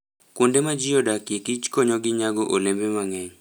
Kuonde ma ji odakie kich konygi nyago olembe mang'eny.